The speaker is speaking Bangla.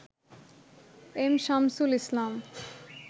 এম শামসুল ইসলাম